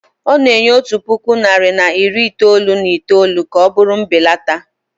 ọ na-enye otu puku naịra na iri itoolu na itoolu ka ọ bụrụ mbelata